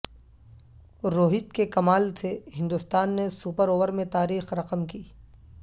روہت کےکمال سے ہندوستان نےسپر اوور میں تاریخ رقم کی